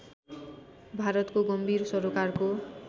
भारतको गम्भीर सरोकारको